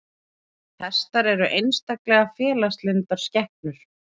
Hestar eru einstaklega félagslyndar skepnur.